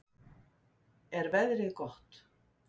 er veðrið gott